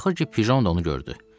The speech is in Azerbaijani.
Axır ki, pjon da onu gördü.